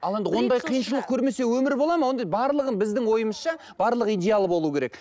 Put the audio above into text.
ал енді ондай қиыншылық көрмесе өмір болады ма онда барлығын біздің ойымызша барлығы идеал болу керек